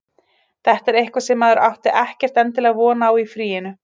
Þetta er eitthvað sem maður átti ekkert endilega von á í fríinu.